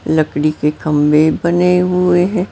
लकड़ी के खंबे बने हुए है।